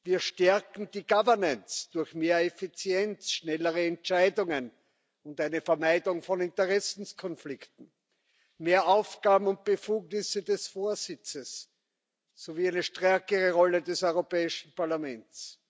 Wir stärken die Governance durch mehr Effizienz und schnellere Entscheidungen und eine Vermeidung von Interessenskonflikten, mehr Aufgaben und Befugnisse des Vorsitzes sowie eine stärkere Rolle des Europäischen Parlaments.